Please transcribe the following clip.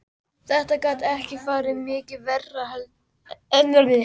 Þetta gat ekki farið mikið verr en það gerði.